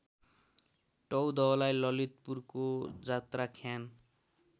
टौदहलाई ललितपुरको जात्राख्यान